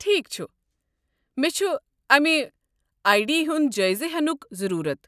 ٹھیكھ چھُ، مےٚ چھُ امہِ آیی ڈی ہُنٛد جٲیزٕ ہٮ۪نک ضروٗرت۔